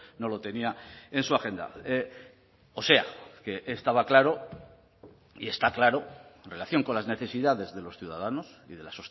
no lo tenía en su agenda o sea que estaba claro y está claro en relación con las necesidades de los ciudadanos y de la